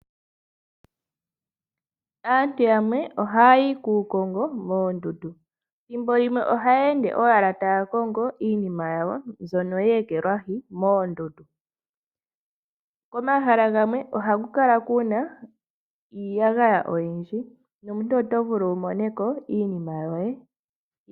Aantu yamwe oha yayi kuukongo moondundu, thimbo limwe ohaya ende owala taya kongo iinima yawo mbyono ye ekelwashi moondundu, komahala gamwe ohaku kala kuna iiyagaya oyindji nomuntu oto vulu wu mone ko iinima yoye.